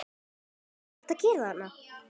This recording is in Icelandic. HVAÐ ERTU AÐ GERA ÞARNA!